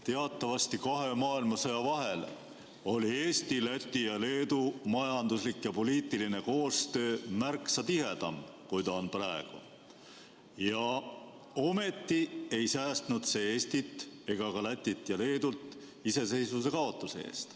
Teatavasti kahe maailmasõja vahel oli Eesti, Läti ja Leedu majanduslik ja poliitiline koostöö märksa tihedam, kui ta on praegu, ometi ei säästnud see Eestit ega Lätit ja Leedut iseseisvuse kaotuse eest.